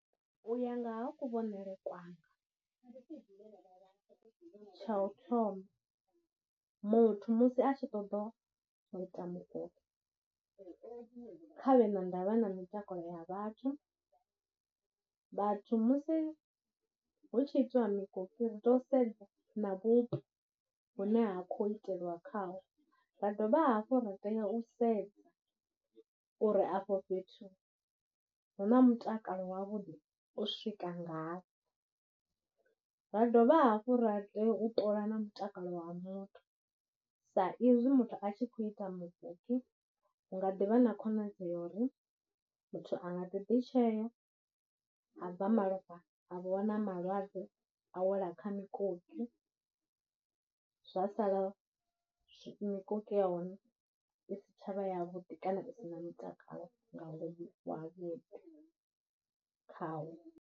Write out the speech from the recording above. U ya nga ha kuvhonele kwanga, tsha u thoma, muthu musi a tshi ṱoḓa u ita mukoki, khavhe na ndavha na mitakalo ya vhathu, vhathu musi hu tshi itwa mikoki ri yea u sedza na vhupo hune ha khou iteliwa khaho, dovha hafhu ra tea u sedza uri afho fhethu huna mutakalo wavhuḓi u swika ngafhi, ra dovha hafhu ra tea u ṱola na mutakalo wa muthu, sa izwi muthu a tshi khou ita mukoki hu nga ḓivha na khonadzeo ya uri muthu a nga ḓi ḓi tshea, a bva malofha a vho wana malwadze a wela kha mikoki zwa sala mikoki ya hone i si tsha vha ya vhuḓi kana i si na mutakalo ngauri khawo.